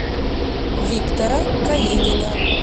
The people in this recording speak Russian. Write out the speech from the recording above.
виктора калинина